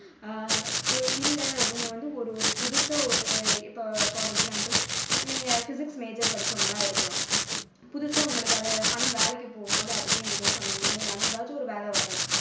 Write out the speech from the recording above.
ஆஹ் இல்ல, உங்களை வந்து ஒரு ஓரு புதுசா ஒரு இப்போ for example நீங்க physics major படிச்சவங்களா இருக்கலாம். புதுசா உங்களுக்கு ஆனா வேலைக்கு போகும்போது அதுக்கும் இதுக்கும் சம்பந்தமே இல்லாம ஏதாச்சும் ஒரு வேலை வரலாம்.